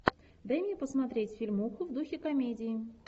дай мне посмотреть фильмуху в духе комедии